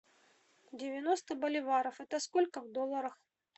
девяносто боливаров это сколько в долларах